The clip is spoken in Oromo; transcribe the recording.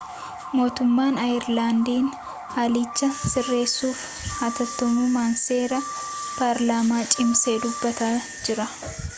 mootummaan aayerlaandii haalicha sirreessuuf haatattamummaa seera paarlaamaa cimsee dubbataa jira